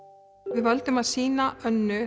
við völdum að sýna Önnu